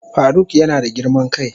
Faruk yana da girman kai.